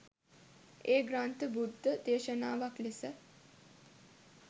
ඒ ග්‍රන්ථ බුද්ධ දේශනාවක් ලෙස